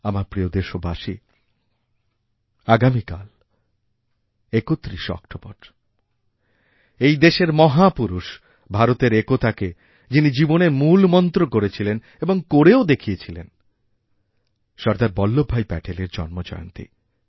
আমারপ্রিয় দেশবাসী আগামী কাল ৩১শে অক্টোবর এই দেশের মহাপুরুষ ভারতের একতাকে যিনিজীবনের মূলমন্ত্র করেছিলেন এবং করেও দেখিয়েছিলেন সর্দার বল্লভভাই প্যাটেলেরজন্মজয়ন্তী